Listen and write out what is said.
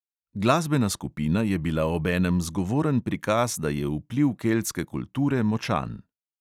Glasbena skupina je bila obenem zgovoren prikaz, da je vpliv keltske kulture močan.